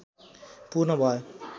पूर्ण भयो